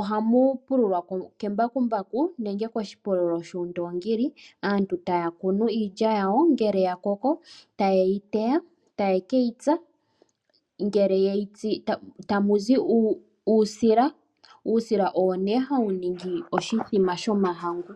ohamu pululwa kembakumbaku nenge koshipululo shoondongili. Aantu taya kunu iilya yawo, ngele ya koko taye yi teya. Ta ye ke yi tsa, ngele ye yi tsu tamu zi uusila. Uusila owo nee hawu ningi oshithima shomahangu.